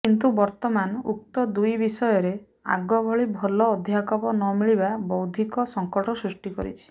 କିନ୍ତୁ ବର୍ତମାନ ଉକ୍ତ ଦୁଇ ବିଷୟରେ ଆଗଭଳି ଭଲ ଅଧ୍ୟାପକ ନ ମିଳିବା ବୌଦ୍ଧିକ ସଙ୍କଟ ସୃଷ୍ଟି କରିଛି